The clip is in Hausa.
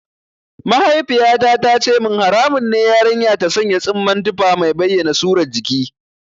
Mahaifiyata ta ce min haramun ne yarinya ta sanya tsumman tufa mai bayyana surar jiki.